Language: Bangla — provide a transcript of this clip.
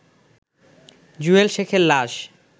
জুয়েল শেখের লাশ